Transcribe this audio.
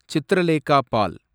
Chitralekha பால்